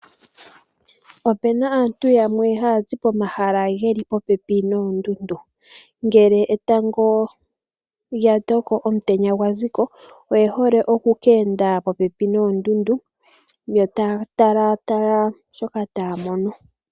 Opena aantu yamwe hayazi pomahala geli popepi noondundu, ngele etango lya toko omutenya gwa ziko oyehole oku ka enda popepi noondundu yo taya talaatala shoka taya mono.